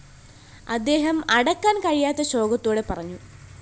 അദ്ദേഹം അടക്കാന്‍ കഴിയാത്ത ശോകത്തോടെ പറഞ്ഞു